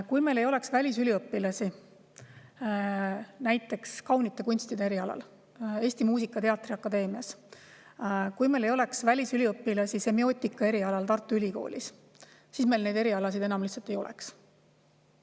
Kui meil ei oleks välisüliõpilasi näiteks kaunite kunstide erialal Eesti Muusika- ja Teatriakadeemias, kui meil ei oleks välisüliõpilasi semiootika erialal Tartu Ülikoolis, siis meil neid erialasid enam lihtsalt ei oleks.